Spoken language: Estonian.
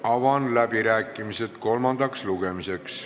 Avan läbirääkimised kolmandal lugemisel.